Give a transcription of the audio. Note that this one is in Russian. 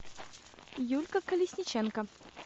юлька колесниченко